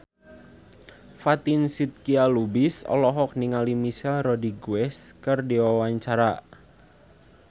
Fatin Shidqia Lubis olohok ningali Michelle Rodriguez keur diwawancara